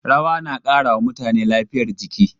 Rawa na ƙara wa mutane lafiyar jiki sosai.